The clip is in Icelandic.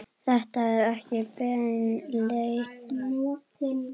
Þetta er ekki bein leið.